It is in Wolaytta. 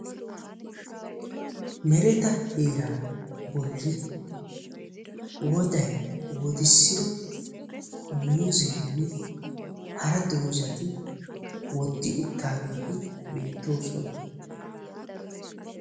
Mereta heeraa bolli woday wodissido muuzzennne hara dozzati woddi uttaageeti beettoosona.